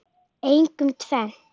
Einkum tvennt.